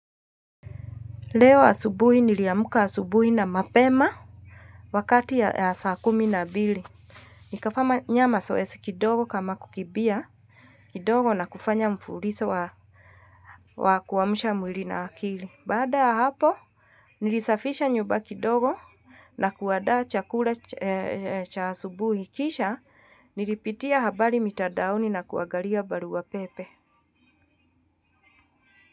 Leo asubuhi niliamka asubuhu na mapema wakati ya saa kumi na bili. Nikafanya masoesi kidogo kama kukibia kidogo na kufanya mfulisa wa kuamsha mwili na akili. Baada ya hapo nilisafisha nyuba kidogo na kuadaa chakula cha asubuhi. Kisha nilipitia habari mitadaoni na kuangalia barua pepe.